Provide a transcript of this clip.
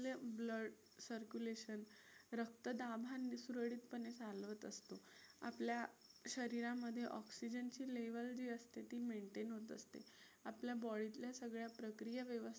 circulation रक्तदाब सुरळीतपणे चालवत असतो. आपल्या शरीरामध्ये oxygen ची level जी असते ती maintain होत असते. आपल्या body तल्या सगळ्या प्रक्रिया